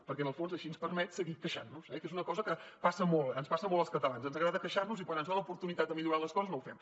perquè en el fons així ens permet seguir queixant nos eh que és una cosa que passa molt ens passa molt als catalans ens agrada queixar nos i quan ens donen l’oportunitat de millorar les coses no ho fem